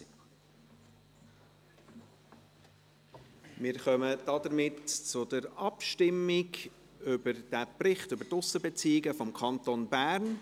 Somit kommen wir zur Abstimmung über die Kenntnisnahme des Berichts über die Aussenbeziehungen des Kantons Bern.